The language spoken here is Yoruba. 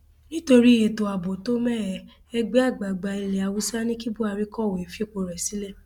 nítorí ètò ààbò tó mẹhẹ ẹgbẹ àgbààgbà ilẹ haúsá ní kí buhari kọwé fipò rẹ sílẹ